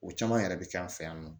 O caman yɛrɛ bɛ kɛ an fɛ yan nɔ